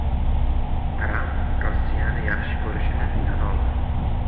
Tramp Rossiyani yaxshi ko‘rishini tan oldi.